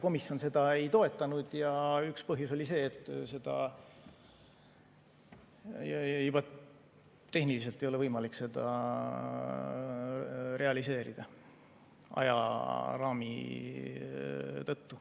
Komisjon seda ei toetanud ja üks põhjus oli see, et seda juba tehniliselt ei ole võimalik realiseerida ajaraami tõttu.